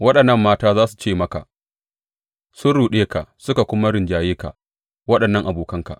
Waɗannan mata za su ce maka, Sun ruɗe ka suka kuma rinjaye ka, waɗannan abokanka.